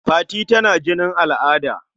Fati tana jinin al'ada..